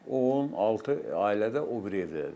16 ailə də o biri evdədir.